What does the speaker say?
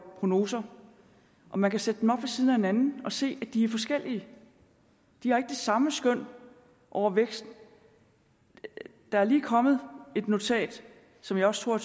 prognoser og man kan sætte dem op ved siden af hinanden og se at de er forskellige de har ikke det samme skøn over væksten der er lige kommet et notat som jeg også tror